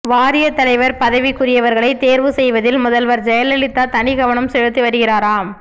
வாரியத் தலைவர் பதவிக்குரியவர்களை தேர்வு செய்வதில் முதல்வர் ஜெயலலிதா தனிக் கவனம் செலுத்தி வருகிறாராம்